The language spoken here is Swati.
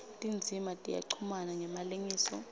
tindzima tiyachumana ngemalengiso